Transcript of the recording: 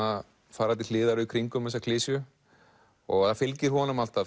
fara til hliðar og í kringum þessa klisju það fylgir honum alltaf